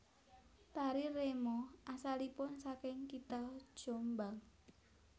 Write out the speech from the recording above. Tari remo asalipun saking kitha Jombang